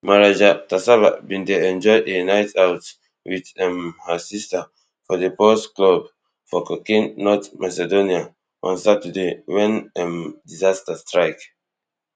marija taseva bin dey enjoy a night out with um her sister for di pulse club for kocani north macedonia on saturday wen um disaster strike